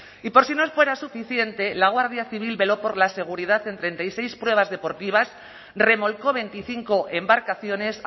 y por si no fuera suficiente la guardia civil veló por la seguridad en treinta y seis pruebas deportivas remolcó veinticinco embarcaciones